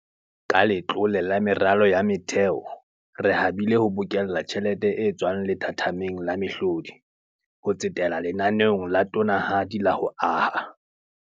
Ka Letlole la Meralo ya Motheo, re habile ho bokella tjhelete e tswang lethathameng la mehlodi, ho tsetela lenaneong la tonanahadi la ho aha.